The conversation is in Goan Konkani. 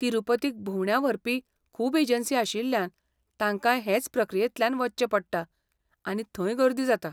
तिरूपतीक भोंवड्यो व्हरपी खूब एजंसी आशिल्ल्यान, तांकांय हेच प्रक्रियेंतल्यान वचचें पडटा, आनी थंय गर्दी जाता.